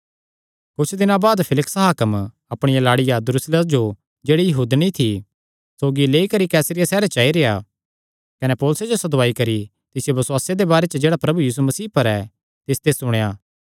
कुच्छ दिनां बाद फेलिक्स हाकम अपणिया लाड़िया द्रुसिल्ला जो जेह्ड़ी यहूदनी थी सौगी लेई करी कैसरिया सैहरे च आई रेह्आ कने पौलुसे जो सदवाई करी तिसियो बसुआसे दे बारे च जेह्ड़ा प्रभु यीशु मसीह पर ऐ तिसते सुणेया